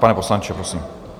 Pane poslanče, prosím.